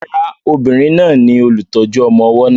Rárá, obìnrin náà ni olùtọ́jú ọmọ ọwọ́ náà.